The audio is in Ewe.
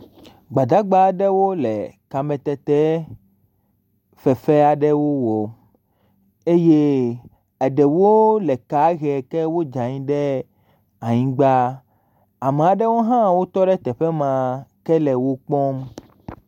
Gbadagba aɖewo le kametetefefe aɖewo wɔm eye eɖewo le kaa hem eye wodze anyi ɖe anyigba. Ame aɖewo hã wotɔ ɖe teƒe ma ke le wo kpɔm.